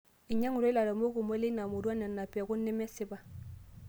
Einyang'utua lairemok kumok leina murua nena pekun nemesipa